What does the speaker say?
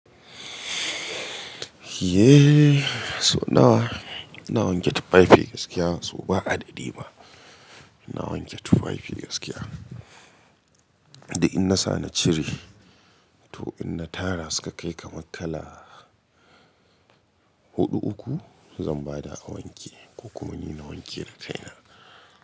Ehh, so nawa? Ina wanke tufafi gaskiya, so ba adadi ma. Na wanke tufafi gaskiya. Duk in na sa na cire, to in na tara suka kai kamar kala Huɗu uku, zan bada a wanke, ko kuma ni na wanke da kaina.